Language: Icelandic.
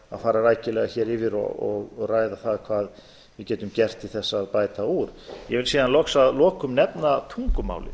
fara rækilega yfir og ræða það hvað við getum gert til að bæta úr ég vil síðan að lokum nefna tungumálið